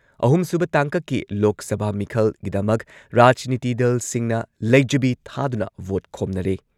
ꯑꯍꯨꯝꯁꯨꯕ ꯇꯥꯡꯀꯛꯀꯤ ꯂꯣꯛ ꯁꯚꯥ ꯃꯤꯈꯜꯒꯤꯗꯃꯛ ꯔꯥꯖꯅꯤꯇꯤ ꯗꯜꯁꯤꯡꯅ ꯂꯩꯖꯕꯤ ꯊꯥꯗꯨꯅ ꯚꯣꯠ ꯈꯣꯝꯅꯔꯦ꯫